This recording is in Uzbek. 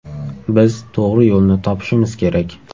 Biz to‘g‘ri yo‘lni topishimiz kerak.